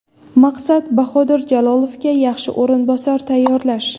Maqsad Bahodir Jalolovga yaxshi o‘rinbosar tayyorlash.